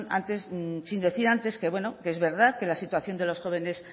sin decir antes que es verdad que la situación de los jóvenes